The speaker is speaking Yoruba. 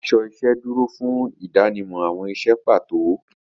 Aṣọ iṣẹ́ dúró fún ìdánimọ̀ àwọn iṣẹ́ pàtó.